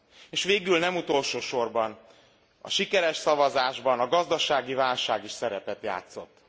És végül, de nem utolsósorban a sikeres szavazásban a gazdasági válság is szerepet játszott.